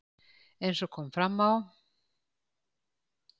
Eins og kom fram á